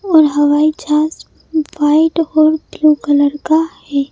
और हवाई जहाज व्हाइट और ब्लू कलर का है।